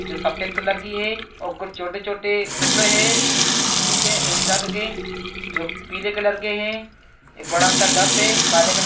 जो सफेद कलर की है और कुछ छोटे-छोटे टुकड़े हैं किसी के इंसानों के जो पीले कलर के हैं एक बड़ा सा है काले कलर --